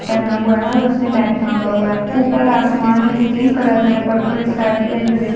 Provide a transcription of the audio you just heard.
पहना हुआ है और उसने बैग टांगा हुआ है ऊपर आसमान है जो तीन कलर मे है purple sky blue and grey --